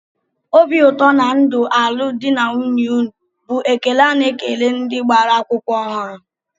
"Obi ụtọ na ndụ alụmdi na nwunye unu" bụ ekele a na-ekele ndị gbara akwụkwọ ọhụrụ